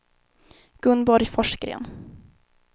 Gunborg Forsgren